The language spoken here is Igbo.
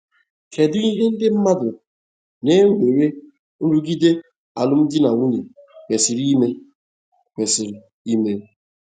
Kedu ihe ndị mmadụ na-enwe nrụgide alụmdi na nwunye kwesịrị ime? kwesịrị ime?